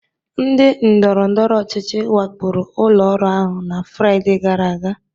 Ndị ndọrọndọrọ ọchịchị wakporo ụlọ ọrụ ahụ na Fraịde gara aga